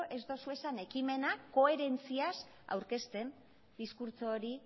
ez dituzuen ekimenak koherentziaz aurkezten diskurtso hori